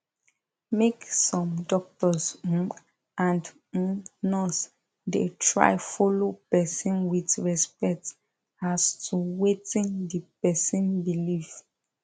make sum doctors um and um nurse da try follow person with respect as to wetin d person believe